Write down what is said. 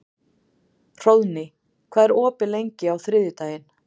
Hróðný, hvað er opið lengi á þriðjudaginn?